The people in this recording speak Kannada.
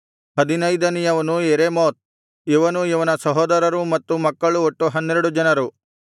ಹದಿನೈದನೆಯವನು ಯೆರೆಮೋತ್ ಇವನೂ ಇವನ ಸಹೋದರರೂ ಮತ್ತು ಮಕ್ಕಳು ಒಟ್ಟು ಹನ್ನೆರಡು ಜನರು